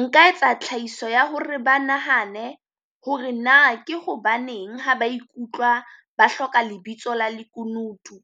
Nka etsa tlhahiso ya hore ba nahane hore na ke hobaneng ha ba ikutlwa ba hloka lebitso la lekunutu?